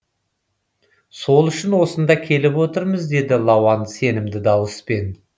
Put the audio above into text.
сол үшін осында келіп отырмыз деді лауан сенімді дауыспен